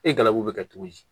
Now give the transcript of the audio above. E galabu bɛ kɛ cogo di